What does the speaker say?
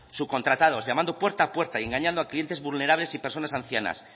subcontratados llamado puerta a puerta y engañando a clientes vulnerables y personas ancianas